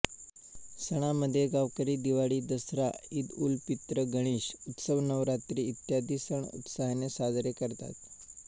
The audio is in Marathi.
सणांमधे गावकरी दिवाळी दसरा ईदउलफित्र गणेश उत्सव नवरात्री इत्यादी सण उत्साहाने साजरे करतात